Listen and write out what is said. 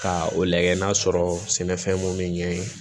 Ka o lagɛ n'a sɔrɔ sɛnɛfɛn mun bɛ ɲɛ yen